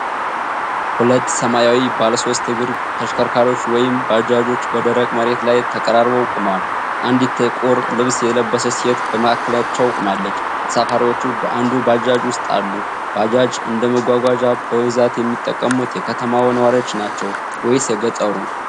ሁለት ሰማያዊ ባለሶስት እግር ተሽከርካሪዎች፣ ወይም ባጃጆች፣ በደረቅ መሬት ላይ ተቀራርበው ቆመዋል። አንዲት ጥቁር ልብስ የለበሰች ሴት በመካከላቸው ቆማለች። ተሳፋሪዎች በአንዱ ባጃጅ ውስጥ አሉ። ባጃጅ እንደ መጓጓዣ በብዛት የሚጠቀሙት የከተማው ነዋሪዎች ናቸው ወይስ የገጠሩ?